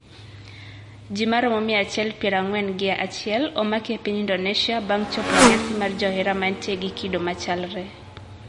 Ji maromo mia achiel pier ang`wen gi achiel omaki e piny Indonesia bang`e chopo e nyasi mar johera mantie gi kido machalre.